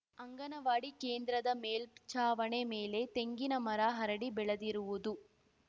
ಅಂಗನವಾಡಿ ಕೇಂದ್ರದ ಮೇಲ್ಚಾವಣಿ ಮೇಲೆ ತೆಂಗಿನ ಮರ ಹರಡಿ ಬೆಳೆದಿರುವುದು